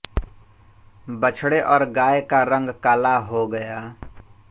बछड़े और गाय का रंग काला हो गया